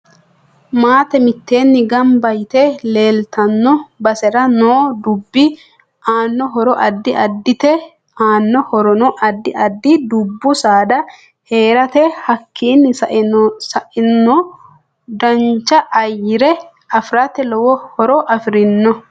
Maate miteeni ganba yite leeltanno basera noo dubbi anno horo addi addite anno horono addi addi dubbu saada heerate hakiini saenno dancha ayyare afirate lowo horo afirinno